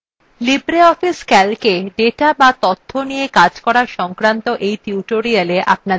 libreoffice calc –এ data বা তথ্য নিয়ে calc করা সংক্রান্ত এই tutorialএ আপনদের স্বাগত জানাচ্ছি